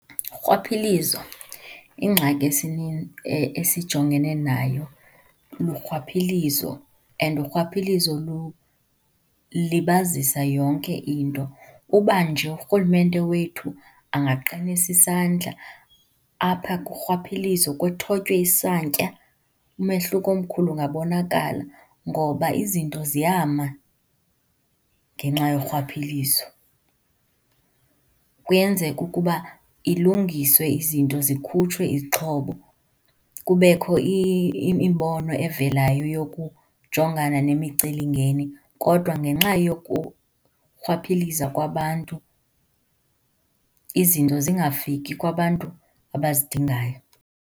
Urhwaphilizo, ingxaki esijongene nayo lurhwaphilizo and urhwaphilizo lulibazisa yonke into. Uba nje urhulumente wethu angaqinisa isandla apha kurhwaphilizo kuthotywe isantya, umehluko omkhulu ungabonakala ngoba izinto ziyama ngenxa yorhwaphilizo. Kuyenzeka ukuba ilungiswe izinto, zikhutshwe izixhobo, kubekho imibono evelayo yokujongana nemicelimngeni kodwa ngenxa yokurhwaphiliza kwabantu izinto zingafiki kwabantu abazidingayo.